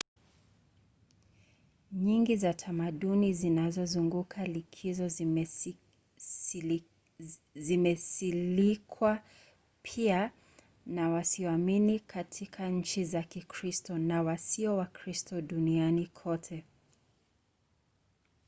nyingi za tamaduni zinazozunguka likizo zimesilikwa pia na wasioamini katika nchi za kikristo na wasio wakristo duniani kote